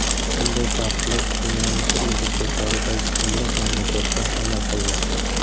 Bunday taqiqlar dunyoning turli burchaklaridagi o‘nlab mamlakatda amal qilmoqda.